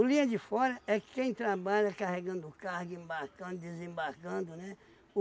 linha de fora é quem trabalha carregando carga, embarcando, desembarcando, né?